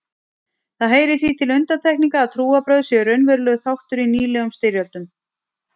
Það heyrir því til undantekninga að trúarbrögð séu raunverulegur þáttur í nýlegum styrjöldum.